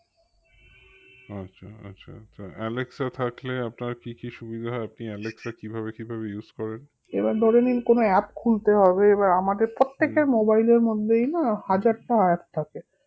আচ্ছা আচ্ছা তা এলেক্সা থাকলে আপনার কি কি সুবিধা হয় আপনি এলেক্সা কিভাবে কিভাবে use করেন?